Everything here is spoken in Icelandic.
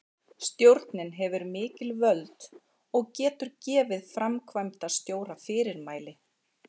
Stjórnin hefur mikil völd og getur gefið framkvæmdastjóra fyrirmæli.